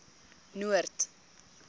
noord